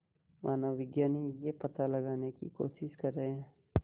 मानवविज्ञानी यह पता लगाने की कोशिश कर रहे हैं